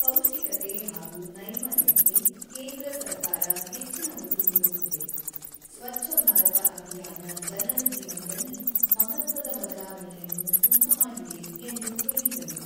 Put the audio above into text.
"""ಪೌಷ್ಟಿಕತೆ ಹಾಗೂ ನೈರ್ಮಲ್ಯಕ್ಕೆ, ಕೇಂದ್ರ ಸರ್ಕಾರ ಹೆಚ್ಚಿನ ಒತ್ತು ನೀಡುತ್ತಿದೆ ; ಸ್ವಚ್ಛ ಭಾರತ ಅಭಿಯಾನ ಜನರ ಜೀವನದಲ್ಲಿ ಮಹತ್ವದ ಬದಲಾವಣೆಯನ್ನು ಉಂಟು ಮಾಡಿದೆ"" ಎಂದು ಹೇಳಿದರು."